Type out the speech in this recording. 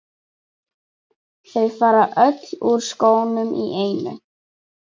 Þau fara öll úr skónum í einu.